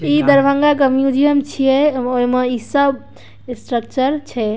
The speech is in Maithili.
इ दरभंगा के म्यूजियम छिये ओय में इ सब स्ट्रक्चर छै।